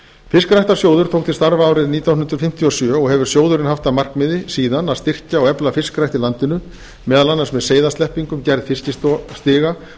fiskræktarsjóður tók til starfa árið nítján hundruð fimmtíu og sjö og hefur sjóðurinn haft að markmiði síðan að styrkja og efla fiskrækt í landinu meðal annars með seiðasleppingum gerð fiskistiga